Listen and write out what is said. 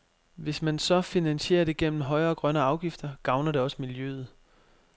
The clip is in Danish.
Hvis man så finansierer det gennem højere grønne afgifter, gavner det også miljøet.